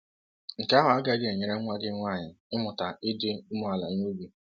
Nke ahụ agaghị enyere nwa gị nwanyị ịmụta ịdị umeala n’obi.